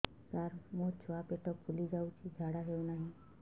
ସାର ମୋ ଛୁଆ ପେଟ ଫୁଲି ଯାଉଛି ଝାଡ଼ା ହେଉନାହିଁ